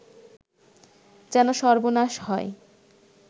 যেন সর্বনাশ হয়